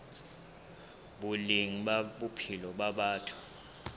boleng ba bophelo ba batho